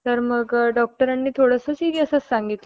तर मग डॉक्टरांनी थोडंसं सिरीयसच सांगितलं